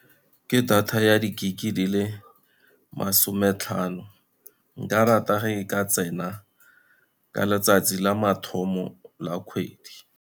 Ke data ya di-gig-e di le masome tlhano. Nka rata ga e ka tsena ka letsatsi la mathomo la kgwedi.